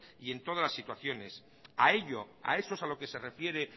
y en todas las situaciones a ello a eso es a lo que se refiere